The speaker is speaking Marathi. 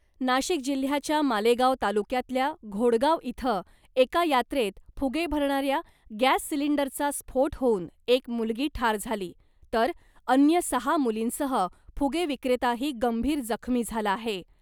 नाशिक जिल्ह्याच्या मालेगाव तालुक्यातल्या , घोडगाव इथं एका यात्रेत फुगे भरणाऱ्या गॅस सिलिंडरचा स्फोट होऊन एक मुलगी ठार झाली , तर अन्य सहा मुलींसह फुगे विक्रेताही गंभीर जखमी झाला आहे .